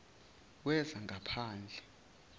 wezangaphandle